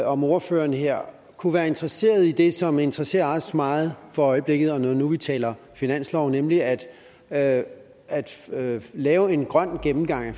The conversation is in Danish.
om ordføreren her kunne være interesseret i det som interesserer os meget for øjeblikket når nu vi taler finanslov nemlig at at lave en grøn gennemgang af